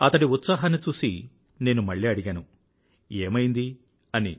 అతడి ఉత్సాహాన్ని చూసి నేను మళ్ళీ అడిగాను ఏమైంది అని